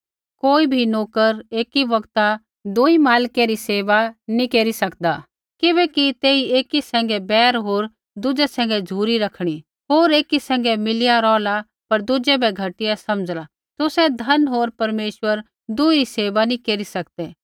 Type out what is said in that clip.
कोई भी नोकर एकी बौगत दूई मालकै री सेवा नी केरी सकदा किबैकि तेई एकी सैंघै बैर होर दुज़ै सैंघै झ़ुरी रखणी होर एकी सैंघै मिलिया रौहला पर दुज़ै बै घटिया समझ़ला तुसै धन होर परमेश्वर दुही री सेवा नैंई केरी सकदै